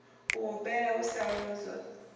u humbela u sa lozwa